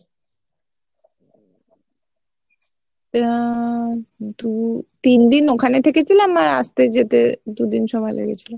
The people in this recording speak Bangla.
আহ কিন্তু তিনদিন ওখানে থেকে ছিলাম আর আস্তে যেতে দু দিন সময় লেগেছিলো।